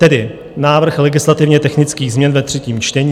Tedy návrh legislativně-technických změn ve třetím čtení: